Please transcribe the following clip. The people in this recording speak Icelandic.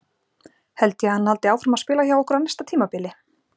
Held ég að hann haldi áfram að spila hjá okkur á næsta tímabili?